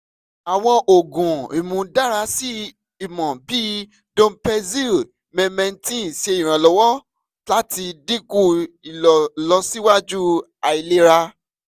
awọn oogun imudarasi imọ bii donepezil memantin ṣe iranlọwọ lati dinku ilọsiwaju ailera